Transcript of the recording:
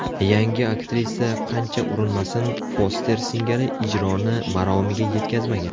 Yangi aktrisa qancha urinmasin, Foster singari ijroni maromiga yetkazmagan.